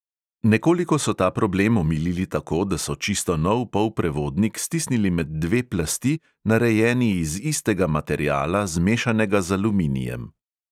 Nekoliko so ta problem omilili tako, da so čisto nov polprevodnik stisnili med dve plasti, narejeni iz istega materiala, zmešanega z aluminijem.